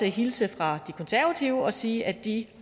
hilse fra de konservative og sige at de